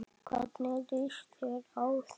Hvernig líst þér á það?